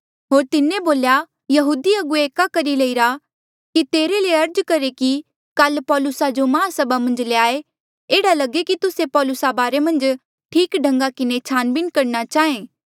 होर तिन्हें बोल्या यहूदी अगुवे एका करी लईरा कि तेरे ले अर्ज करहे कि काल पौलुसा जो माहसभा मन्झ ल्याए एह्ड़ा लगे कि तुस्से पौलुसा बारे मन्झ ठीक ढन्गा किन्हें छानबीन करणा चाहें